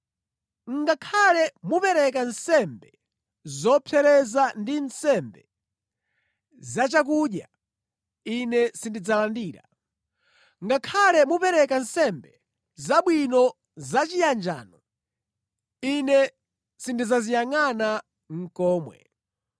Ngakhale mupereke nsembe zopsereza ndi nsembe zachakudya, Ine sindidzazilandira. Ngakhale mupereke nsembe zabwino zachiyanjano, Ine sindidzaziyangʼana nʼkomwe.